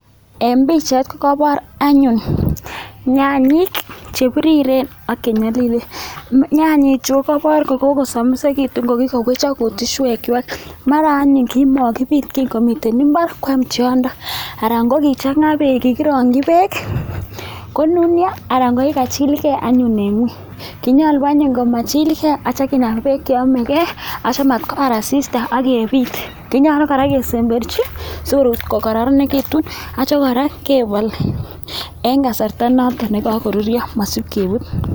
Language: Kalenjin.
En pichait kogobor anyun nyanyik chebiriren ak che nyolilen. Nyanyichu kogobor ko kogosomisegitun ko kigowechok kutuswekwak. Mara nayun kimokibit komiten mbar kwam tyondo anan ko kichang'a beek, kigirongi beek konunyo anan ko kigachilge anyun en ng'weny. Kinyolu anyun komachilge ak kityo kinaga beek che yomege ak kityo komatkobar asista ak kebiit. Kinyolu kora kesemberchi sigokoronegitu ak kityo kora kebol en kasarta noton ne kogoruryo mosib kebut.